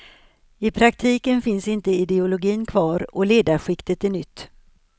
I praktiken finns inte ideologin kvar och ledarskiktet är nytt.